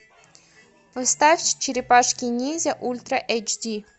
поставь черепашки ниндзя ультра эйч ди